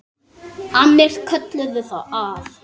Annir kölluðu að.